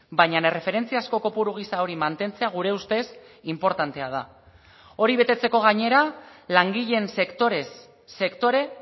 baina erreferentzia asko kopuru gisa hori mantentzea gure ustez inportantea da hori betetzeko gainera langileen sektorez sektore